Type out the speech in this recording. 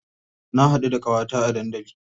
Na haɗu da ƙawata a dandali.